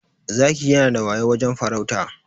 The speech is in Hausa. Zaki yanada wayau wajen farauta.